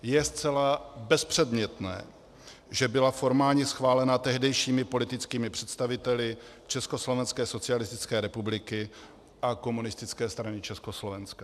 Je zcela bezpředmětné, že byla formálně schválena tehdejšími politickými představiteli Československé socialistické republiky a Komunistické strany Československa.